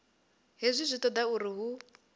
hezwi zwi toda uri hu